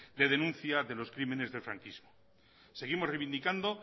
de denuncia de los crímenes del franquismo seguimos revindicando